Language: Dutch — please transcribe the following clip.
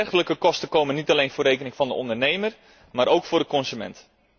Dergelijke kosten komen niet alleen voor rekening van de ondernemer, maar ook van de consument.